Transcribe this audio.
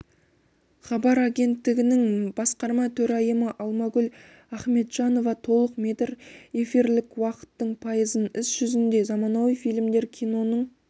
хабар агенттігінің басқарма төрайымы алмагүл ахметжанова толық метр эфирлік уақыттың пайызын іс жүзінде заманауи фильмдер киноның